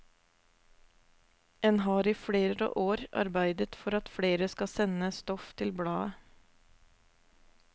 En har i flere år arbeidet for at flere skal sende stoff til bladet.